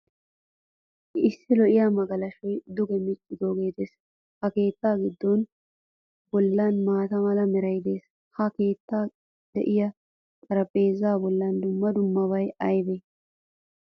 Issi lo'iyaa magalashuwaa duge miccidoge de'ees. Ha keettaa goda bollan maataa meray de'ees. Ha keettan de'iyaa xaraphpheezza bollan dumma dummabay aybe?